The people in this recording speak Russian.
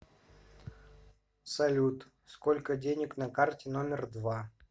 салют сколько денег на карте номер два